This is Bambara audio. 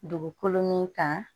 Dugukolo min kan